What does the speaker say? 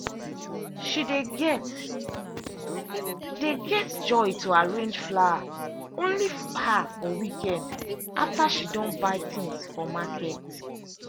she dey get dey get joy to arrange flower only her for weekend after she don buy things for market.